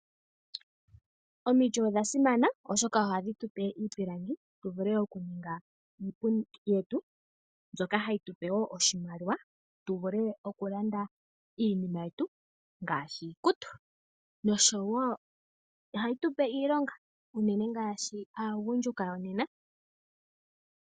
Omiti odha simana oshoka ohadhi tupe iipilangi tu vule okuhonga iipundi yetu mbyoka hayi tupe oshimaliwa tu vule okulanda iinima yetu ngaashi iikutu. Noshowo ohayi tupe iilonga ngaashi aagundjuka yanakanena.